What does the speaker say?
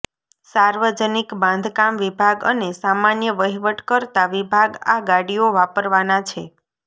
સાર્વજનિક બાંધકામ વિભાગ અને સામાન્ય વહીવટકર્તા વિભાગ આ ગાડીઓ વાપરવાના છે